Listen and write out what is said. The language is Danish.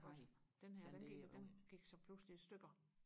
den her den gik så pludselig i stykker